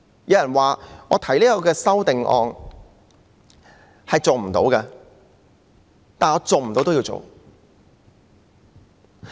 有人說，我提出此項修正案是做不到的，但我仍然要做。